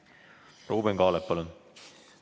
Ruuben Kaalep, palun!